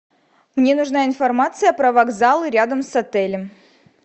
мне нужна информация про вокзалы рядом с отелем